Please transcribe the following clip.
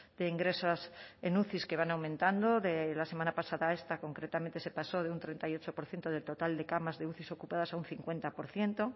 de ingresos en uci que van aumentando de la semana pasada a esta concretamente se pasó de un treinta y ocho por ciento del total de camas de uci ocupadas a un cincuenta por ciento